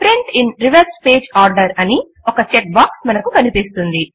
print in reverse page order అని ఒక check box మనకు కనిపిస్తుంది